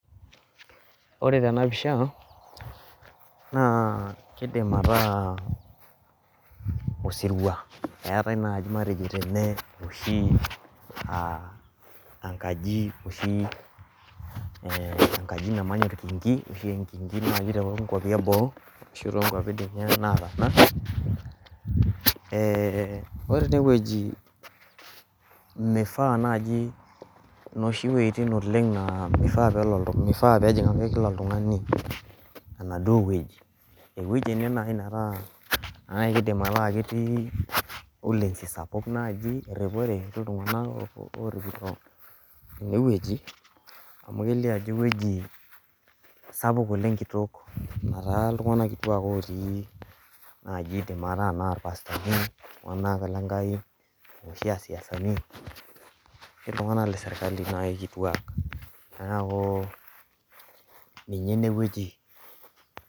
ore tena pisha naa keidim ataa osirua eetae naaji matejo tene oshi aa enkaji oshi enkaji namanya orkinki toonwapi ee boo ashuu toonkwapi dii nye nataana ore ene weji meifaa naji pewoshi iweitin oleng' aa meifaa ake peejing' kila oltung'ani enaduo weji eweji ene nayii nataa keidim ataa ketii erripore ashuu iltung'anak orripito ene weji amu keliio ajo eweji sapuk oleng' kitok nataa iltung'anak kituak ooti najii iidim ataa ana irpastani iltung'anak lenkai aashu aa isiasani ashuu iltung'anak le sirkali nayii kituak neeku niinye ene weji.